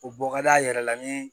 O bɔ ka d'a yɛrɛ la ni